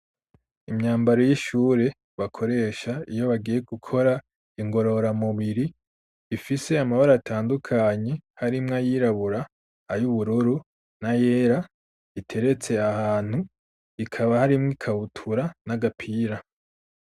Imyambaro y'ishure bakoresha iyo bagiye gukora ingorora mubiri ifise amabare atandukanyi harimwo ayirabura ayo ubururu na yera iteretse ahantu ikaba harimwo ikawutura n'agapira.